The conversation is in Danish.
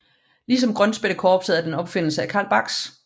Ligesom Grønspættekorpset er den en opfindelse af Carl Barks